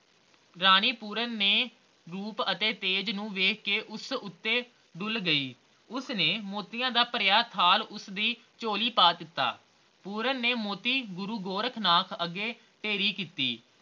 ਰਾਣੀ ਪੂਰਨ ਨੇ ਰੂਪ ਅਤੇ ਤੇਜ ਨੂੰ ਵੇਖ ਕੇ ਉਸ ਉੱਤੇ ਡੁੱਲ ਗਈ ਉਸਨੇ ਮੋਤੀਆਂ ਦਾ ਭਰਿਆ ਥਾਲ ਉਸਦੀ ਚੋਲੀ ਪਾ ਦਿੱਤਾ ਪੂਰਨ ਨੇ ਮੋਤੀ ਗੁਰੂ ਗੋਰਖਨਾਥ ਅੱਗੇ ਢੇਰੀ ਕੀਤੇ